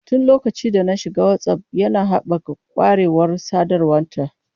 Tun lokacin da na shiga Whatsapp, yana haɓaka ƙwarewar sadarwa ta.